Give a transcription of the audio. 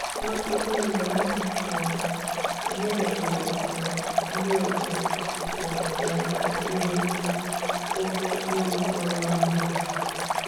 Nwachukwundọm um enyebeghịrị um ndị òtù um ya aka iru ogo ịrụ ọrụ ahụ.